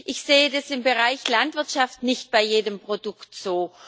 Ich sehe das im Bereich Landwirtschaft nicht bei jedem Produkt so.